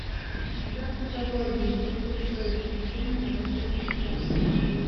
у тебя в каталоге есть большое приключение на воздушном шаре